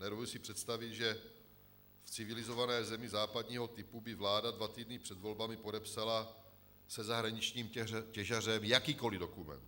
Nedovedu si představit, že v civilizované zemi západního typu by vláda dva týdny před volbami podepsala se zahraničním těžařem jakýkoli dokument.